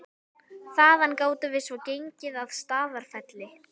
Þaðan gátum við svo gengið að Staðarfelli.